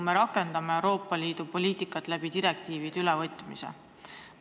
Me rakendame Euroopa Liidu poliitikat, kui eri komisjonides direktiivide ülevõtmist otsustame.